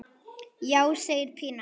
Já, segir Pína.